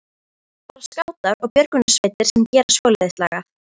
Það eru bara skátar og björgunarsveitir sem gera svoleiðis lagað